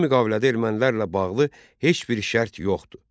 Bu müqavilədə ermənilərlə bağlı heç bir şərt yox idi.